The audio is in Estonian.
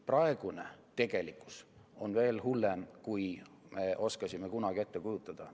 Praegune tegelikkus on veel hullem, kui me oskasime kunagi ette kujutada.